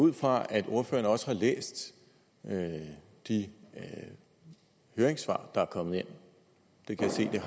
ud fra at ordføreren også har læst de høringssvar der er kommet ind det kan jeg